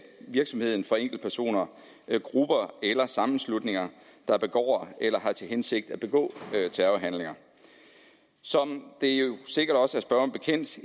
virksomheden fra enkeltpersoner grupper eller sammenslutninger der begår eller har til hensigt at begå terrorhandlinger som det jo sikkert også